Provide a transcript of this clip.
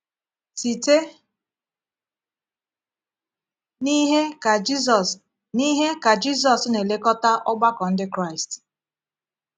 Site n’ihe ka Jisus n’ihe ka Jisus na-elekọta ọgbakọ Ndị Kraịst?